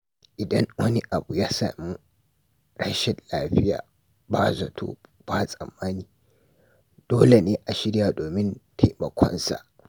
Idan wani ya samu rashin lafiya ba zato ba tsammani, dole ne a shirya domin taimakonsa.